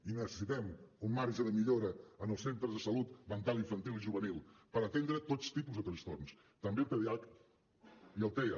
i necessitem un marge de millora en els centres de salut mental infantil i juvenil per atendre tots tipus de trastorns també el tdah i el tea